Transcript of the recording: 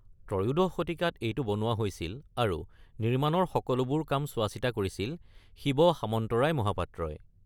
ত্ৰয়োদশ শতিকাত এইটো বনোৱা হৈছিল আৰু নিৰ্মাণৰ সকলোবোৰ কাম চোৱা-চিতা কৰিছিল শিৱ সামন্তৰায় মহাপাত্ৰই।